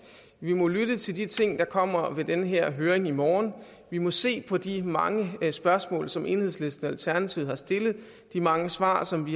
vi må lytte til de ting der kommer ved den her høring i morgen vi må se på de mange spørgsmål som enhedslisten og alternativet har stillet og de mange svar som